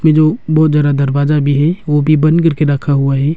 ये जो बहुत ज्यादा दरवाजा भी है वो भी बंद करके रखा हुआ है।